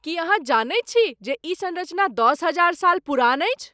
की अहाँ जनैत छी जे ई संरचना दश हजार साल पुरान अछि?